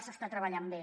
s’hi està treballant bé